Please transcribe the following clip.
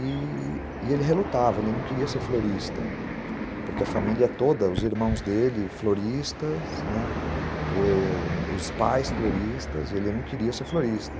E ele relutava, ele não queria ser florista, né, porque a família toda, os irmãos dele, floristas, os pais floristas, ele não queria ser florista.